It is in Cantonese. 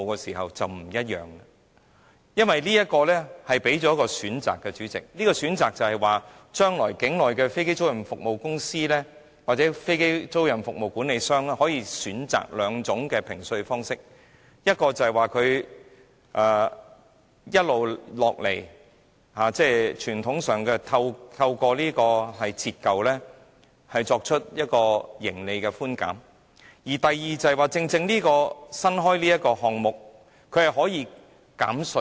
主席，因為這樣就會提供多一個選擇，將來境內的飛機租賃公司或飛機租賃服務管理商可以選擇兩種評稅方式，一種是傳統透過折舊作出營利寬減；而第二種就是現時這個新稅務寬減方式。